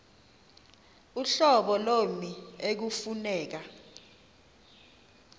uhlobo lommi ekufuneka